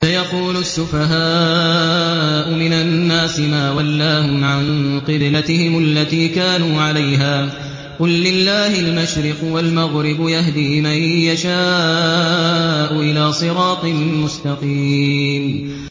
۞ سَيَقُولُ السُّفَهَاءُ مِنَ النَّاسِ مَا وَلَّاهُمْ عَن قِبْلَتِهِمُ الَّتِي كَانُوا عَلَيْهَا ۚ قُل لِّلَّهِ الْمَشْرِقُ وَالْمَغْرِبُ ۚ يَهْدِي مَن يَشَاءُ إِلَىٰ صِرَاطٍ مُّسْتَقِيمٍ